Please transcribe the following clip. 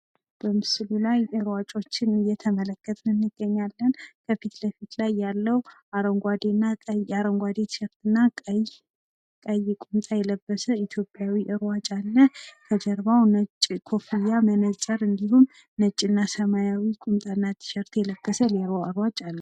በምስሉ ላይ ሯጮችን እየተመለከትን እንገኛለን። ከፊት ለፊት ያለው አረንጓዴና ቀይ አረንጓዴ ቲሸርትና ቀይ ቁምጣ የለበሰ ኢትዮጵያዊ ሯጭ አለ። ከጀርባው ነጭ ኮፍያ መነፅር እንዲሁም ነጭ እና ሰማያዊ ቁምጣና ቲሸርት የለበሰ ሌላ ሯጭ አለ።